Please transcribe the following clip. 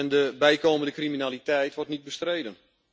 De bijkomende criminaliteit wordt niet bestreden.